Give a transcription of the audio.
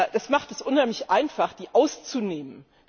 Das macht es unheimlich einfach, sie auszunehmen.